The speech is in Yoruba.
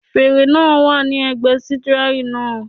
Fèrè náà wà ní ẹ̀gbẹ́ sítíárìn náà.